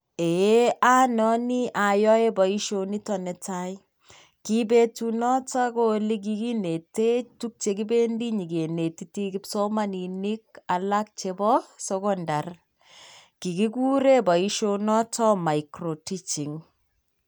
Ee anoni ayoei boisionito netai, ki betunoto ko ilikikinetech tug chekibendi nyikenetiti kipsomaninik alak chebo secondary, kikikure boisionoto micro teaching.